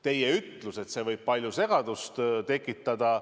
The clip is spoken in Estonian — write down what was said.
Te ütlesite, et see võib palju segadust tekitada.